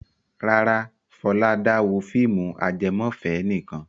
Rárá, Fọlá dá wo fíìmù ajẹmọ́fẹ̀ẹ́ nìkan.